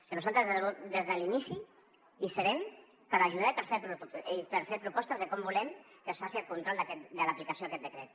que nosaltres des de l’inici hi serem per ajudar i per fer propostes de com volem que es faci el control de l’aplicació d’aquest decret